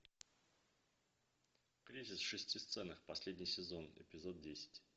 кризис в шести сценах последний сезон эпизод десять